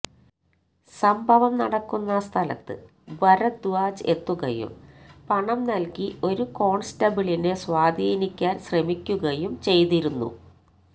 സംഭവം നടക്കുന്ന സ്ഥലത്ത് ഭരദ്വാജ് എത്തുകയും പണം നൽകി ഒരു കോൺസ്റ്റബിളിനെ സ്വാധീനിക്കാൻ ശ്രമിക്കുകയും ചെയ്തിരുന്നു